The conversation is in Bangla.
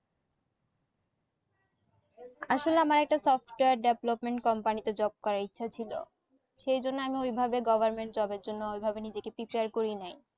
আসোলে আমার একটা software development company তে job করার ইচ্ছা ছিল সেই জন্য আমি ওই ভাবে government job এর জন্য ওই ভাবে নিজেকে prepare করিনাই।